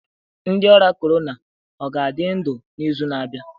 Ndị ọrịa corona ọ ga-adị ndụ n'izu na-abịa?